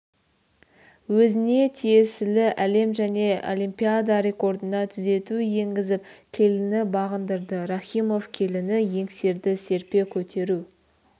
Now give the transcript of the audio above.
өзіне тиесілі әлем және олимпиада рекордына түзету енгізіп келіні бағындырды рахимов келіні еңсерді серпе көтеру